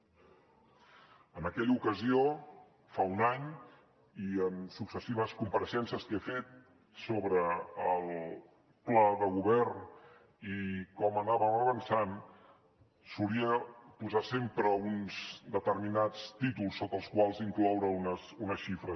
en aquella ocasió fa un any i en successives compareixences que he fet sobre el pla de govern i com anàvem avançant solia posar sempre uns determinats títols sota els quals incloure unes xifres